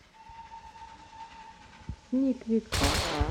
сниквик